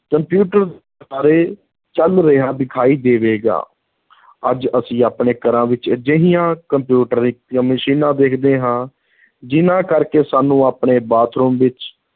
computer ਬਾਰੇ ਚਲ ਰਿਹਾ ਦਿਖਾਈ ਦੇਵੇਗਾ ਅੱਜ ਅਸੀਂ ਆਪਣੇ ਘਰਾਂ ਵਿੱਚ ਅਜਿਹੀਆਂ ਕੰਪਿਊਟਰੀ ਮਸ਼ੀਨਾਂ ਦੇਖਦੇ ਹਾਂ, ਜਿਨ੍ਹਾਂ ਕਰਕੇ ਸਾਨੂੰ ਆਪਣੇ ਬਾਥਰੂਮ ਵਿੱਚ